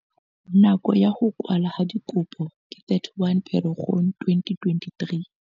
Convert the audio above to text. Nako ya ho kwallwa ha dikopo ke 31 Pherekgong 2023.